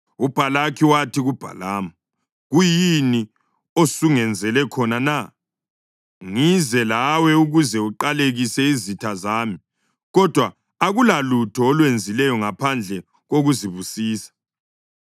UBhalaki wathi kuBhalamu, “Kuyini osungenzele khona na? Ngize lawe ukuze uqalekise izitha zami, kodwa akulalutho olwenzileyo ngaphandle kokuzibusisa!”